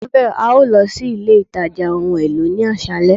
marvel, a yoo lọ si ile itaja ohun elo ile ni aṣalẹ